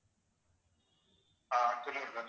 ஆஹ் சொல்லுங்க sir